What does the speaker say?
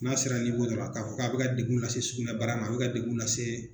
N'a sera dɔ la k'a fɔ ko a bɛ ka degun lase sugunɛbara ma a bɛ ka degun lase